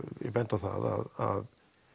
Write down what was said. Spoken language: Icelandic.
ég bendi á það að